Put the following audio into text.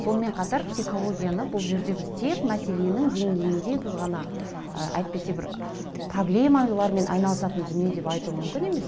сонымен қатар психологияны бұл жерде біз тек мәселенің денгейінде ы әйтпесе бір проблемалармен айналысатын дүние деп айту мүмкін емес